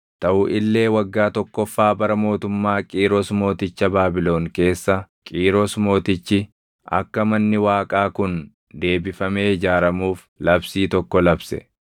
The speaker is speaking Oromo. “Taʼu illee waggaa tokkoffaa bara mootummaa Qiiros mooticha Baabilon keessa Qiiros Mootichi akka manni Waaqaa kun deebifame ijaaramuuf labsii tokko labse.